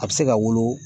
A bɛ se ka wolo